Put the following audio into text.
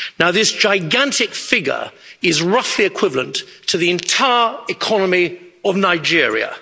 This gigantic figure is roughly equivalent to the entire economy of Nigeria.